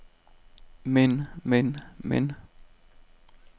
men men men